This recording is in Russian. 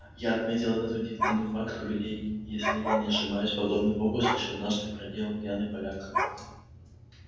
я отметил этот удивительный факт у людей если я не ошибаюсь подобный фокус лишь однажды проделал пьяный поляк